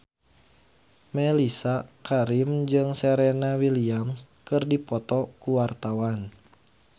Mellisa Karim jeung Serena Williams keur dipoto ku wartawan